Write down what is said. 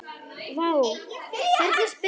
Vá, hvernig spyrðu?